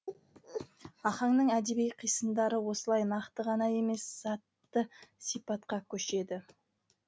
ахаңның әдеби қисындары осылай нақты ғана емес затты сипатқа көшеді